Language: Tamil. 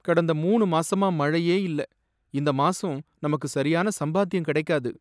கடந்த மூணு மாசமா மழையே இல்ல. இந்த மாசம் நமக்கு சரியான சம்பாத்தியம் கிடைக்காது.